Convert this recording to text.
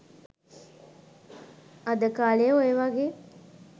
අද කාලේ ඔයවගේ